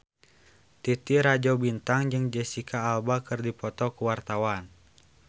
Titi Rajo Bintang jeung Jesicca Alba keur dipoto ku wartawan